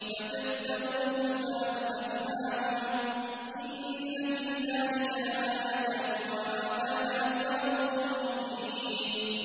فَكَذَّبُوهُ فَأَهْلَكْنَاهُمْ ۗ إِنَّ فِي ذَٰلِكَ لَآيَةً ۖ وَمَا كَانَ أَكْثَرُهُم مُّؤْمِنِينَ